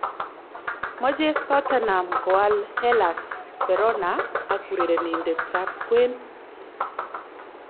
Mochei Tottenham koal Hellas Verona ak urerenindet ab kwen